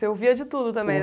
Você ouvia de tudo também né